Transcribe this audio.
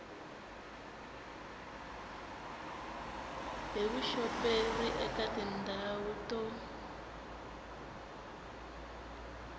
hi vuxoperi eka tindhawu to